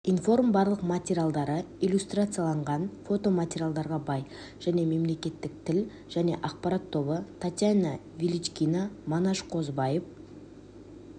информ барлық материалдары иллюстрацияланған фотоматериалдарға бай және мемлекеттік тіл және ақпарат тобы татьяна величкина манаш қозыбаев